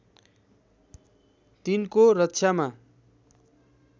तिनको रक्षामा